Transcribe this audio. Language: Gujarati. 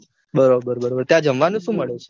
બરોબર બરોબર ત્યાં જમવાનું સુ મળે છે?